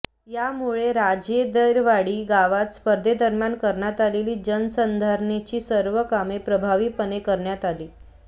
यामुळे राजदेरवाडी गावात स्पर्धेदरम्यान करण्यात आलेली जलसंधारणाची सर्व कामे प्रभावीपणे करण्यात आली